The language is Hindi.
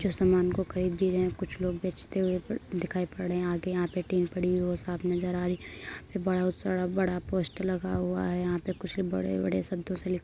जो सामान को खरीद भी रहे हैं कुछ लोग बेचते हुए पड़ दिखाई पड़ रहे हैं। आगे यहां पर टीन पड़ी हई है वो साफ़ नजर आ रही है। बड़ा बड़े बड़ा पोस्टर लगा हुआ है। यहां पर कुछ बड़े-बड़े शब्दों से लिख --